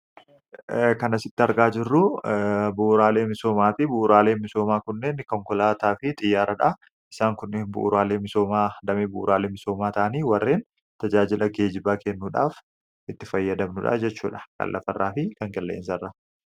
Kan asitti argaa jirru bu'uraalee misoomaati. Bu'uraaleen misoomaa kunneen konkolaataa fi xiyyaaraadha. Isaan kunneen bu'uuraalee misoomaa damee bu'uuraalee misoomaa ta'anii warreen tajaajila geejjibaa kennuudhaaf itti fayyadamnu dhaa jechuudha; kan lafarraa fi Kan qilleensarraa.